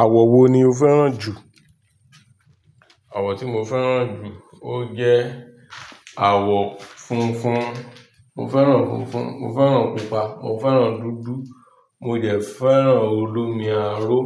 Àwọ̀ wo ni o fẹ́ràn jù? Àwọ̀ tí mo fẹ́ràn jù, ó jẹ́ àwọ̀ funfun. Mo fẹ́ràn funfun, mo fẹ́ràn pupa, mo fẹ́ràn dúdú, mo dẹ̀ fẹ́ràn olómi aró.